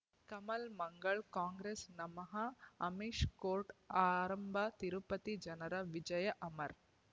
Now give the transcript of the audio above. ಕಮಲ್ ಮಂಗಳ್ ಕಾಂಗ್ರೆಸ್ ನಮಃ ಅಮಿಷ್ ಕೋರ್ಟ್ ಆರಂಭ ತಿರುಪತಿ ಜನರ ವಿಜಯ ಅಮರ್